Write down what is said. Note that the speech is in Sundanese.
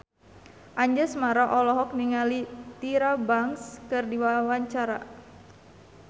Anjasmara olohok ningali Tyra Banks keur diwawancara